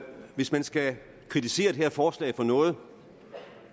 hvis man skal kritisere det her forslag for noget